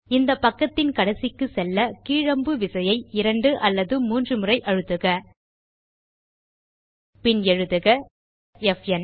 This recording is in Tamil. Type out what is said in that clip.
இந்த பக்கத்தின் கடைசிக்குச் செல்ல கீழ் அம்பு விசையை இரண்டு அல்லது மூன்றுமுறை அழுத்துக பின் எழுதுக ப் ந்